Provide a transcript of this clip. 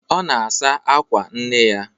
Ọ na-asụ àkwà nne ya.